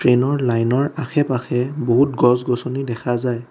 ট্ৰেইনৰ লাইনৰ আশে-পাশে বহুত গছ-গছনি দেখা যায়।